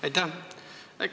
Aitäh!